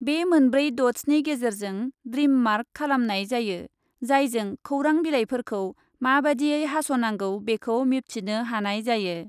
बे मोनब्रै दटसनि गेजेरजों ड्रिम मार्क खालामनाय जायो, जायजों खौरां बिलाइफोरखौ माबादियै हास ' नांगौ बेखौ मिबथिनो हानाय जायो ।